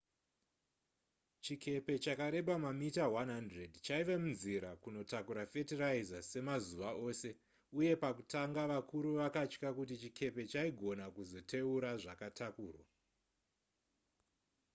chikepe chakareba mamita 100 chaiva munzira kunotakura fetiraiza semazuva ose uye pakutanga vakuru vakatya kuti chikepe chaigona kuzoteura zvakatakurwa